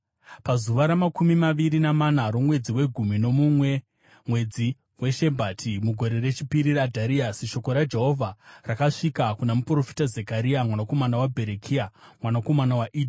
Pazuva ramakumi maviri namana romwedzi wegumi nomumwe, mwedzi weShebhati, mugore rechipiri raDhariasi, shoko raJehovha rakasvika kuna muprofita Zekaria mwanakomana waBherekia mwanakomana waIdho.